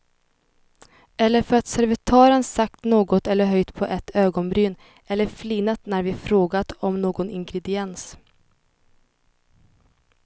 Eller för att servitören sagt något eller höjt på ett ögonbryn eller flinat när vi frågat om någon ingrediens.